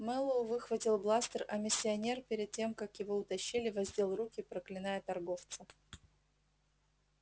мэллоу выхватил бластер а миссионер перед тем как его утащили воздел руки проклиная торговца